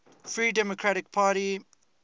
free democratic party